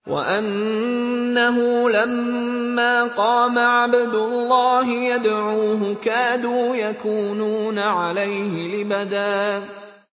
وَأَنَّهُ لَمَّا قَامَ عَبْدُ اللَّهِ يَدْعُوهُ كَادُوا يَكُونُونَ عَلَيْهِ لِبَدًا